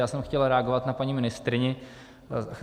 Já jsem chtěl reagovat na paní ministryni.